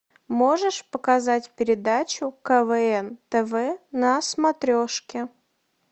можешь показать передачу квн тв на смотрешке